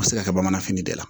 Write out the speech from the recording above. A bɛ se ka kɛ bamanan fini de la